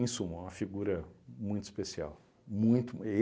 Em suma, é uma figura muito especial. Muito